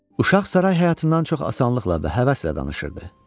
Uşaq saray həyatından çox asanlıqla və həvəslə danışırdı.